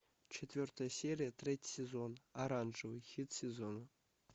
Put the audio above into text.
четвертая серия третий сезон оранжевый хит сезона